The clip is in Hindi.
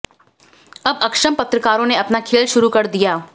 अब अक्षम पत्रकारों ने अपना खेल शुरू कर दिया